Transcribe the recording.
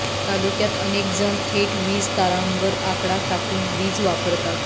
तालुक्यात अनेक जण थेट वीज तारांवर आकडा टाकून वीज वापरतात